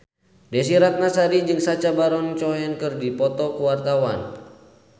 Desy Ratnasari jeung Sacha Baron Cohen keur dipoto ku wartawan